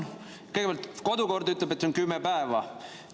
Kõigepealt, kodukord ütleb, et see on kümme päeva.